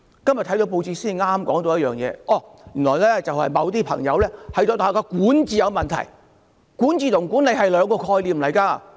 今天報章報道原來某些朋友認為大學的管治出了問題，但管治和管理是兩個概念。